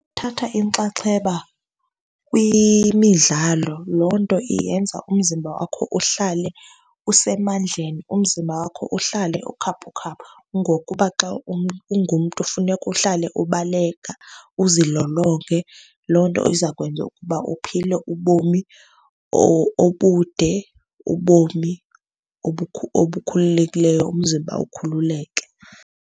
Thatha inxaxheba kwimidlalo. Loo nto iyenza umzimba wakho uhlale usemandleni, umzimba wakho uhlale ukhaphukhaphu. Ngokuba xa ungumntu funeka uhlale ubaleka uzilolonge. Loo nto izakwenza ukuba uphile ubomi obude, ubomi obukhululekileyo, umzimba ukhululeke.